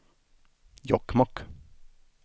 Jokkmokk